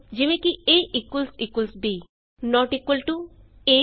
a b not equal to easy